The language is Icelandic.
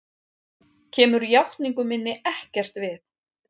Kemur játningu minni ekkert við.